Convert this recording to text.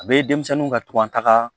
A be denmisɛnninw ka tɔn taga